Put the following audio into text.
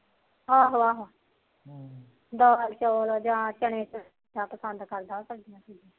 ਆਹੋ ਆਹੋ ਦਾਲ ਚੋਲ ਜਾ ਚਣੇ